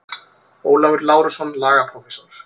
Ólafur Lárusson, lagaprófessor.